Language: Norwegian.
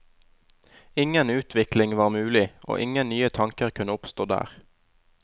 Ingen utvikling var mulig, og ingen nye tanker kunne oppstå der.